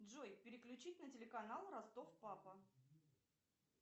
джой переключить на телеканал ростов папа